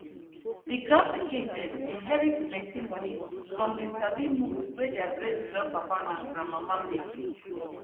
the grand pikin dem inherit plenty money from the sabi moves wey their greatgrandpapa and grandmama make